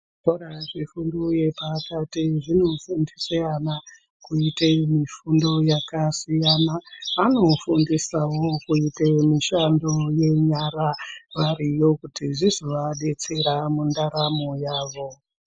Zvikora zvefundo yepakati zvinofundisa ana kuite mifundo yakasiyana, anofundisawo vana kuite mishando yenyara variyo kuti zvizovadetsera mundaramo yavo.